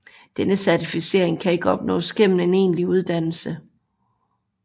Denne certificering kan ikke opnås gennem en egentlig uddannelse